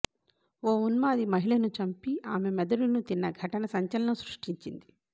ఓ ఉన్మాది మహిళను చంపి ఆమె మెదడును తిన్న ఘటన సంచలనం సృష్టించింది